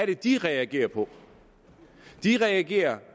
det de reagerede på de reagerede